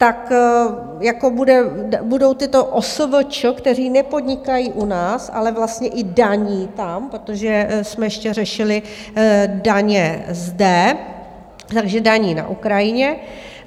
Tak budou tyto OSVČ, které nepodnikají u nás, ale vlastně i daní tam, protože jsme ještě řešili daně zde, takže daní na Ukrajině.